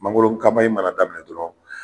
Mangoro mana daminɛ dɔrɔn